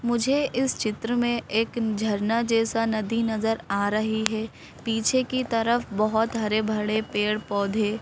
मुझे इस चित्र में एक झरना जैसा नदी नजर आ रही है पीछे की तरफ बहुत हरे भरे पेड़ पौधे--